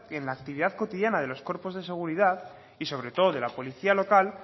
en la actividad cotidiana de los cuerpos de seguridad y sobre todo de la policía local